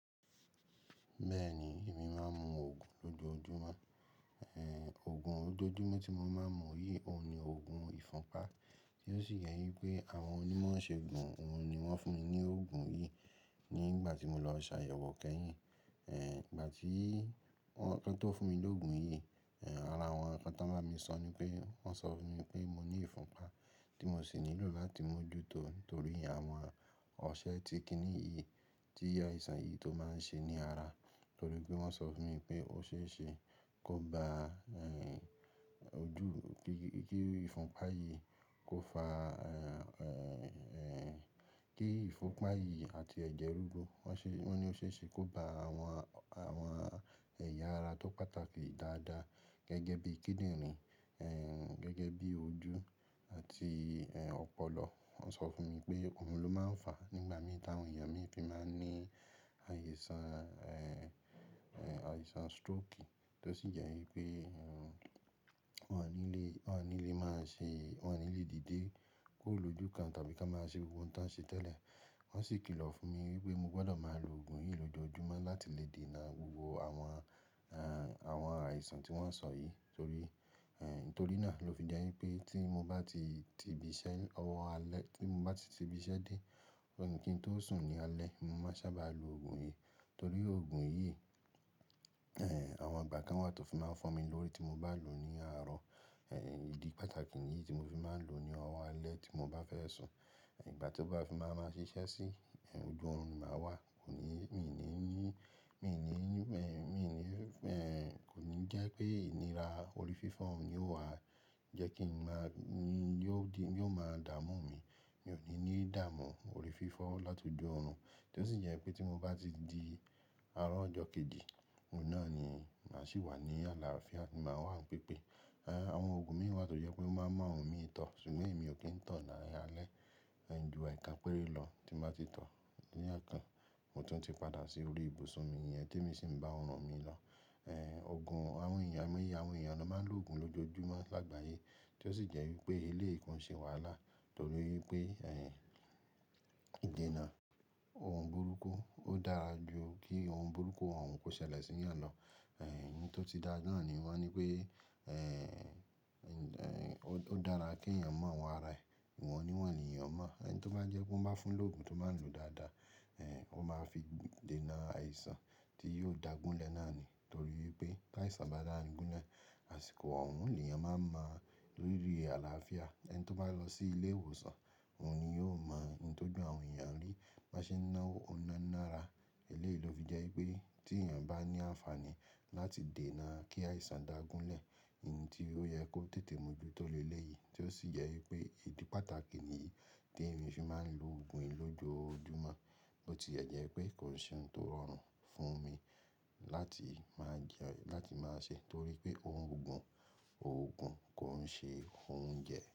Bẹ́ẹ̀ni, èmi máa ń mu òògùn lójoojúmọ́. Òògùn ójoojúmọ́ tí mo máa ń mu yìí òun ni òògùn ìfúnpa, tí ó sì jẹ́ wípé àwọn onímọ̀ isègun òun ni wón fún mi ní òògùn yìí nígbà tí mo lọ ṣàyẹ̀wò kẹ́yìn. Ẹ̀, ìgbà tí wọ́n, kí wọ́n tó fún mi lóògùn yìí, ara àwọn nnkan tó ń bá mi sọ ní pé wọ́n sọ fún mi pé mo ní ìfúnpa tí mo sì nílò láti mójútó nítorí àwọn ọṣẹ ti kíní yìí, tí àìsàn yìí tó máa ń ṣe ní ara. Nítorí pé wọ́n sọ fún mi pé ó ṣe é ṣe kó ba, ẹ́, ojú kí ìfúnpa yìí kó fa, ẹ́, ẹ́, kí ìfúnpa yìí àti ẹ̀jẹ̀ rú rú. Wọ́n ṣe, wọ́n ní ó ṣe é ṣe kó ba àwọn, àwọn ẹ̀yà ara tó pàtàkì dáadáa, gẹ́gẹ́ bí i kíndìnrín, ẹ́, gẹ́gẹ́ bí i ojú àti, ẹ́, ọpọlọ. Wọ́n sọ fún mi pé òun ló máa ń fàá nígbà mí ti ń awon èèyàn mi fi máa ń ní àìsàn, ẹ́, ẹ́, àìsàn stroki tí ó sì jẹ́ wípé, ẹ́, wọn ò ní lè, wọn ò ní lè máa ṣe, wọn ò ní lè dìde kóro lojú kan tàbí ká máa ṣe ohun tí wọ́n ṣe tẹ́lẹ̀. Wọ́n sì kìlọ̀ fún mi wípé mo gbọ́dọ̀ máa lo òògùn yìí lójoojúmọ́ láti lè dènà gbogbo àwọn, ẹ́, àwọn àìsàn tí wọ́n sọ yìí. Torí, ẹ́, ítorí náà ló fi jẹ́ wípé tí mo bá ti ti ibiṣẹ́, ọwọ́ alẹ́ tí mo bá ti ti ibiṣẹ́ dé, kí n tó sùn ní alẹ́, mo máa sábà lo òògùn yìí. Nítorí òògùn yìí, ẹ́, àwọn igbà kan wà tó fi máa ń fo mi lórí tí mo bá lò ó ní àárọ̀. Ẹ́, ìdí pàtàkì yìí tí mo fi máa ń lò ó ní ọwọ́ alẹ́ tí mo bá fẹ́ sùn. Ìgbà tí ó bá fi máa ń ma ṣiṣẹ́ sí, ojú ọ̀run ni màá wà. Kò ní, mi ò ní ní, mi ò ní ní, ẹ́, mi ò ní, ẹ́, kò ní jẹ́ pé ìníra orí fífọ́ òun ni ó wà. Jẹ́ kí n máa ní, ni yóò di, yóò máa dààmú mi. Mi ò ní ní dààmú orí fífọ́ láti ojú ọ̀run. Kí ó sì jẹ́ pé tí mo bá ti di àárọ̀ ọjọ́ kejì, òun náà ni màá sì wà ní àlàáfíà, màá wà ní pípé. Ẹ̀, àwọn òògùn míì wà tó jẹ́ pé omáa ń mu àwọn mi tọ̀. Ṣùgbọ́n èmi ò kí ń tọ̀ ní a laalẹ́. Ẹ̀, ju eekán pẹ́rẹ́ lọ tí màá ti tọ̀ ní eekan, mo tún ti padà sí orí ibùsùn mi niyẹn tí èmi sì ń bá òrùn mi lọ. Ẹ̀, òògùn àwọn èèyàn, àwọn èèyàn lọ́ máa ń lo òògùn lójoojúmọ́ lágbàyé. Kí ó sì jẹ́ wípé eléyi kon ṣe wàhálà. Nítorí wípé, ẹ́, ìdènà ohun burúkú ó dára ju kí ohun burúkú òun kó ṣẹlẹ̀ sí èèyàn lọ. Ẹ̀, ohun tó ti dá náà ni wọ́n ní pé, ẹ́, ẹ́, ó dára kí èèyàn mọ àwọn ara ẹ. Wọn ò ní wọ́n ni èèyàn mọ̀. Ẹ̀, ẹni tó bá jẹ́ pé ó má fún lóògùn tó máa ń lò dáadáa, ẹ́, ó máa fi dènà àìsàn tí yóò dà gúnlẹ̀ náà ni. Nítorí wípé tí àìsàn bá dà gúnlẹ̀, àsìkò òun ni èèyàn máa ń mọ rirí àlàáfíà. Ẹni tó bá lọ sí ilé ìwòsàn, òun ni yóò mọ ohun tó ju àwọn èèyàn rí bi wa n ṣe náwó, ó ná náà ra. Eléyìí ló fi jẹ́ wípé tí èèyàn bá ní àǹfààní láti dènà kí àìsàn dà gúnlẹ̀, ohun tí ó yẹ kó tètè mójútó le léyìí. Tí ó sì jẹ́ wípé ìdí pàtàkì ni yìí tí èmi fi máa ń lo òògùn yìí lójoojúmọ́. Ó tile jẹ́ pé kò sí ohun tó rọrùn fún mi láti máa jẹ́, láti máa ṣe. Torí pé òun òògùn, òògùn kò ń ṣe, òunjẹ.